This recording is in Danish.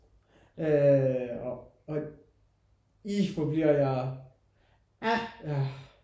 Øh og og ih hvor bliver jeg ja